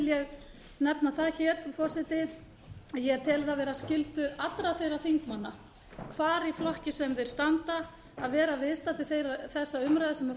ég nefna það hér frú forseti að ég tel það vera skyldu allra þeirra þingmanna hvar í flokki sem þeir standa að vera viðstaddur þessa umræðu sem